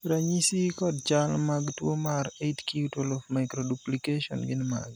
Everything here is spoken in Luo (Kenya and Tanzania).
ranyisi kod chal mag tuo mar 8q12 microduplication gin mage?